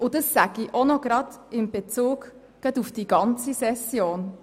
Das sage ich in Bezug auf die ganze Session.